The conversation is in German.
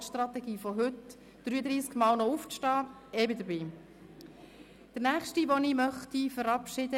Ich bedanke mich ganz herzlich beim Ensemble des Jugendsinfonieorchesters Arabesque und bei den Musikschulen, welche die Basis dafür legen: